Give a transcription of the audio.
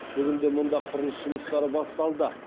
бүгінде мұнда құрылыс жұмыстары басталды